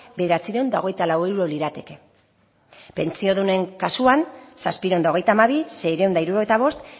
bederatziehun eta hogeita lau euro lirateke pentsiodunen kasuan zazpiehun eta hogeita hamabi seiehun eta hirurogeita bost